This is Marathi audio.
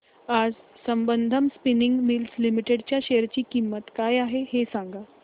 आज संबंधम स्पिनिंग मिल्स लिमिटेड च्या शेअर ची किंमत काय आहे हे सांगा